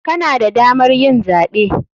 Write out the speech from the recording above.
Kana da damar yin zaɓe.